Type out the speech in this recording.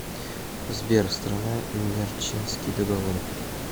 сбер страна нерчинский договор